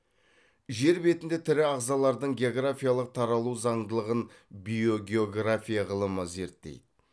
жер бетінде тірі ағзалардың географиялық таралу заңдылығын биогеография ғылымы зерттейді